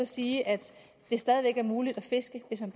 sige at det stadig væk er muligt at fiske hvis man